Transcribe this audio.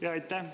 Jaa, aitäh!